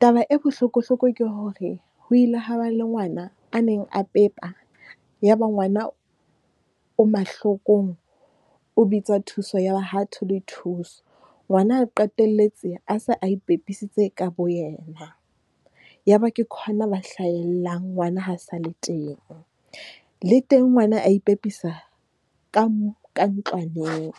Taba e bohlokohloko ke hore ho ile hwa ba le ngwana a neng a pepa, ya ba ngwana o mahlokong o bitsa thuso, ya ba ha thole thuso. Ngwana a qetelletse a se a ipepisitse ka bo yena. Ya ba ke khona ba hlahellang ngwana ha sale teng, le teng ngwana a ipepisa ka ntlwaneng.